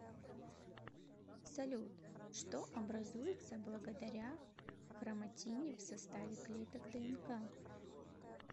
салют что образуется благодаря хроматине в составе клеток днк